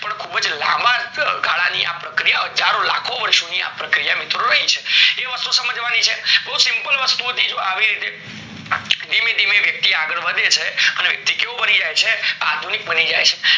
પણ ખુબજ લાંબા ગાળા ની પ્રક્રીયા હજારો લાખો વર્ષો ની આ પ્રક્રિયા મિત્રો છે એ વસ્તુ સમજવાની છે બોવ simple હતી જો આવી રીતે ધીમે ધીમે વ્યક્તિ આગળ વધે છે અને તે કેવો બની જાય છે આધુનિક બની જાય છે